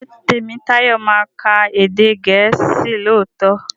Ṣé Tèmítáyọ̀ ma ka èdè gèésì lóòtó?